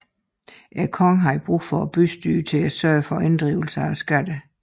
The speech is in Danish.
Kongen havde brug for bystyret til at sørge for inddrivelse af skatterne